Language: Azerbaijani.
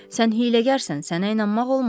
Sən hiyləgərsən, sənə inanmaq olmaz.